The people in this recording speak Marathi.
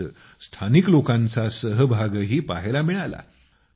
त्यात स्थानिक लोकांचा सहभागही पहायला मिळाला